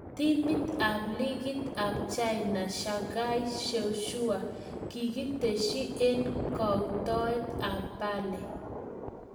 Timit ab ligit ab China Shanghai Shenhua kikiteshi eng kauitoet ab Bale.